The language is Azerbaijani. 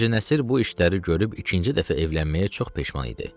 Hacı Nəsir bu işləri görüb ikinci dəfə evlənməyə çox peşman idi.